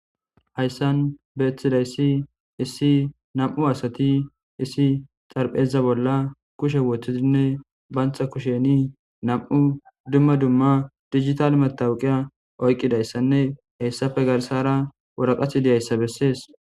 Haysan betidaysi issi nam'u asati issi xarapheza bolla kushe wothidinne banta kushan nam'u duma duma dijital matawoqa oykidaysanne hesape garsara woraqati dizaysa beses